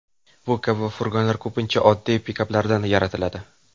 Bu kabi furgonlar ko‘pincha oddiy pikaplardan yaratiladi.